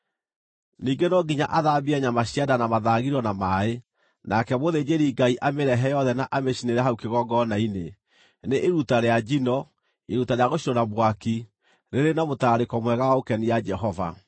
Ningĩ no nginya athambie nyama cia nda na mathagiro na maaĩ, nake mũthĩnjĩri-Ngai amĩrehe yothe na amĩcinĩre hau kĩgongona-inĩ. Nĩ iruta rĩa njino, iruta rĩa gũcinwo na mwaki, rĩrĩ na mũtararĩko mwega wa gũkenia Jehova.